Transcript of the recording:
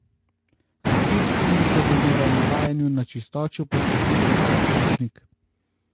A kljub temu se bo moral navajanju na čistočo posvetiti vsak lastnik.